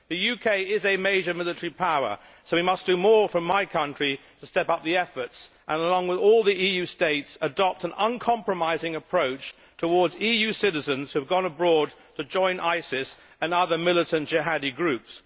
The UK is a major military power so we must do more from my country to step up the efforts and, along with all the EU states, adopt an uncompromising approach towards EU citizens who have gone abroad to join ISIS and other militant Jihadi groups.